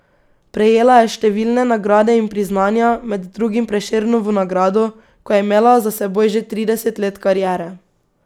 Prejela je številne nagrade in priznanja, med drugim Prešernovo nagrado, ko je imela za seboj že trideset let kariere.